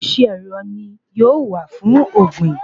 Oríṣi ẹ̀rọ ni yóò wà fún ògbìn